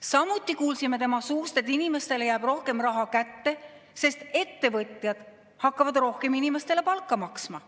Samuti kuulsime tema suust, et inimestele jääb rohkem raha kätte, sest ettevõtjad hakkavad inimestele rohkem palka maksma.